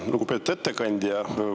Lugupeetud ettekandja!